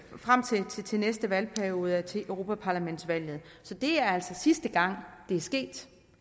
frem til til næste valgperiode til europaparlamentsvalget så det er altså sidste gang det er sket